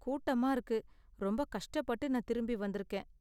கூட்டமா இருக்கு, ரொம்ப கஷ்டப்பட்டு நான் திரும்பி வந்திருக்கேன்.